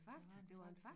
Det var en Fakta